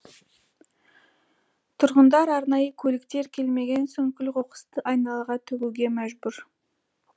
тұрғындар арнайы көліктер келмеген соң күл қоқысты айналаға төгуге мәжбүр